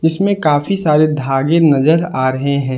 इसमें काफी सारे धागे नजर आ रहे हैं।